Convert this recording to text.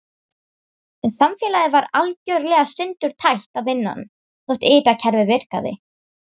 En samfélagið var algjörlega sundurtætt að innan þótt ytra kerfið virkaði.